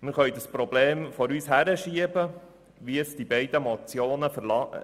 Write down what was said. Wir können das Problem vor uns hinschieben, wie es die beiden Motionen verlangen.